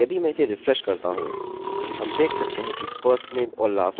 यदि मैं इसे रिफ्रेश करता हूँ हम देख सकते हैं कि firstname और lastname दिखाई दिया